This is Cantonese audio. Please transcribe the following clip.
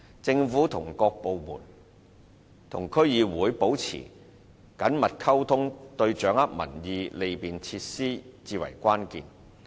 政府各部門與區議會保持緊密溝通，對掌握民意和利便施政至為關鍵。